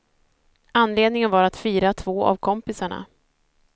Anledningen var att fira två av kompisarna.